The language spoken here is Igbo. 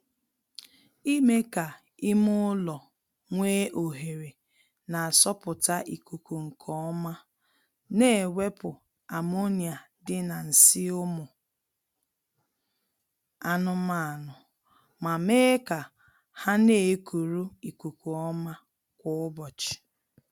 Ime ka ime ụlọ nwee ohere na-asọpụta ikuku nkeọma na-ewepụ ammonia dị na nsị ụmụ anụmaanụ ma mee ka ha na-ekuru ikuku ọma kwa ụbọchị